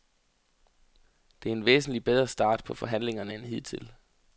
Det er en væsentligt bedre start på forhandlingerne end hidtil.